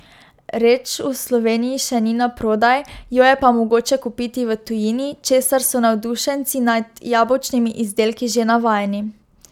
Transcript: Reč v Sloveniji še ni naprodaj, jo je pa mogoče kupiti v tujini, česar so navdušenci nad jabolčnimi izdelki že navajeni.